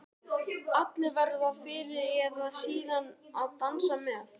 Allir verða fyrr eða síðar að dansa með.